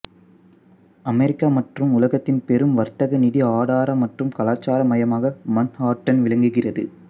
America மற்றும் உலகத்தின் பெரும் வர்த்தக நிதிஆதார மற்றும் கலாச்சார மையமாக மன்ஹாட்டன் விளங்குகிறது